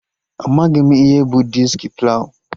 Amaghị m ihe bụ diski plawụ